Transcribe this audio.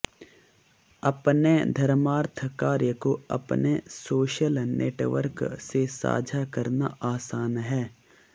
अपने धर्मार्थ कार्य को अपने सोशल नेटवर्क से साझा करना आसान है